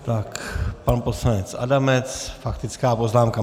Tak pan poslanec Adamec, faktická poznámka.